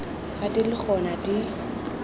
fa di le gona di